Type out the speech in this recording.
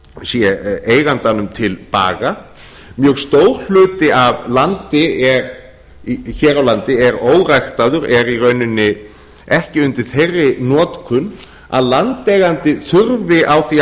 sé eigandanum til baga mjög stór hluti af landi hér á landi er óræktaður er í rauninni ekki undir þeirri notkun að landeigandi þurfi á því að